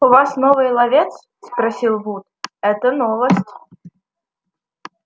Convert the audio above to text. у вас новый ловец спросил вуд это новость